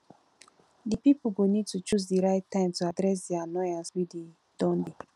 di pipo go need to choose di right time to address di annoyance wey don dey